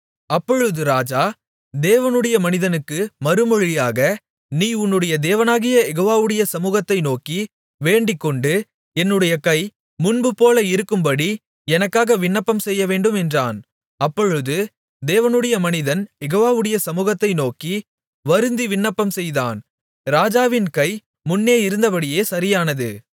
அப்பொழுது ராஜா தேவனுடைய மனிதனுக்கு மறுமொழியாக நீ உன்னுடைய தேவனாகிய யெகோவாவுடைய சமுகத்தை நோக்கி வேண்டிக்கொண்டு என்னுடைய கை முன்போல இருக்கும்படி எனக்காக விண்ணப்பம் செய்யவேண்டும் என்றான் அப்பொழுது தேவனுடைய மனிதன் யெகோவாவுடைய சமுகத்தை நோக்கி வருந்தி விண்ணப்பம்செய்தான் ராஜாவின் கை முன்னே இருந்தபடியே சரியானது